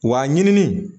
Wa ɲini